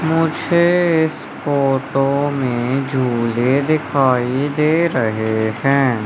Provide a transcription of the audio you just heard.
मुझे इस फोटो में झूले दिखाई दे रहे हैं।